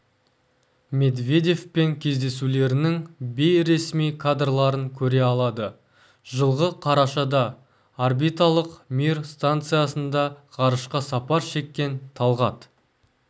медведевпен кездесулерінің бейресми кадрларын көре алады жылғы қарашада орбиталық мир станциясында ғарышқа сапар шеккен талғат